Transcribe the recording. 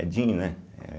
Edinho, né eh